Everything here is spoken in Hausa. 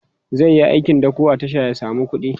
zaiyi aikin dako a tasha ya samu kuɗi